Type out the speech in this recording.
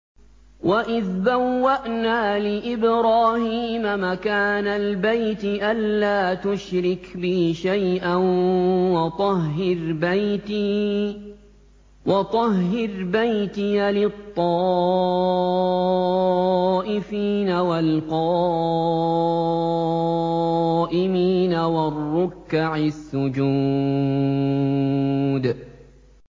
وَإِذْ بَوَّأْنَا لِإِبْرَاهِيمَ مَكَانَ الْبَيْتِ أَن لَّا تُشْرِكْ بِي شَيْئًا وَطَهِّرْ بَيْتِيَ لِلطَّائِفِينَ وَالْقَائِمِينَ وَالرُّكَّعِ السُّجُودِ